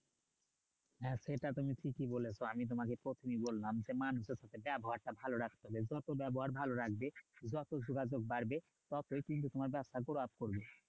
হ্যাঁ সেটা তুমি ঠিকই বলেছো আমি তোমাকে প্রথমেই বললাম যে, মানুষের সঙ্গে ব্যবহারটা ভালো রাখতে হবে। যত ব্যাবহার ভালো রাখবে যত যোগাযোগ বাড়বে ততই কিন্তু তোমার ব্যবসা growup করবে।